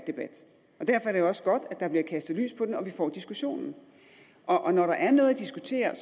debat og derfor er det også godt at der bliver kastet lys på det og vi får diskussionen og når der er noget at diskutere er